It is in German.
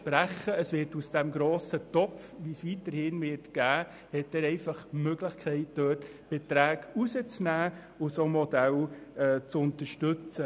Er hat einfach die Möglichkeit, aus dem grossen Topf, den es weiterhin geben wird, Beträge herauszulösen und solche Modelle zu unterstützen.